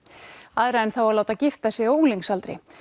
aðra en þá að láta gifta sig á unglingsaldri